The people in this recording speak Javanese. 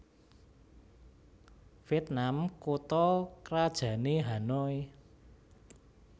Viètnam kutha krajané Hanoi